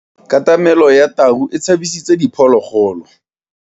Katamelo ya tau e tshabisitse diphologolo.